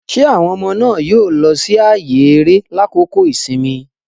Ṣe awọn ọmọde náà yóò lọ si ààyè eré lakoko ìsinmi?